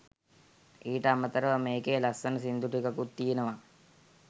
ඊට අමතරව මේකේ ලස්සන සින්දු ටිකකුත් තියනවා